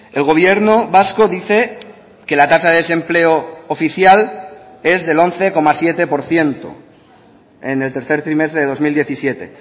el gobierno vasco dice que la tasa de desempleo oficial es del once coma siete por ciento en el tercer trimestre de dos mil diecisiete